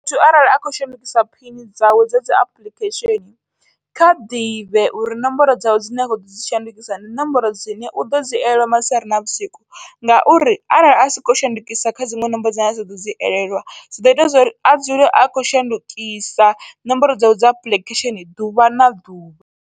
Muthu arali a khou shandukisa phini dzawe dza dzi apuḽikhesheni, kha ḓivhe uri ṋomboro dzawe dzine a kho ḓodzi shandukisa ndi ṋomboro dzine uḓodzi elelwa masiari na vhusiku ngauri arali a sokou shandukisa kha dziṅwe ṋomboro dzine dza ḓodzi elelwa dzi ḓo ita zwori a dzule a khou shandukisa ṋomboro dzawe dza apuḽikhesheni ḓuvha na ḓuvha.